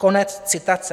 Konec citace.